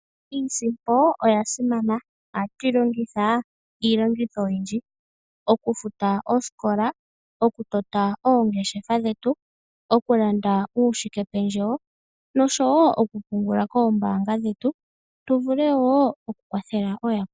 Iisimpo oya simana. Ohatu yi longitha iilonga oyindji ngaashi okufuta oosikola, okutota oongeshefa dhetu, okulanda uushikependjewo noshowo okupungula koombaanga dhetu tu vule wo okukwathela ooyakwetu.